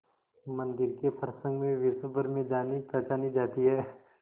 मंदिर के प्रसंग में विश्वभर में जानीपहचानी जाती है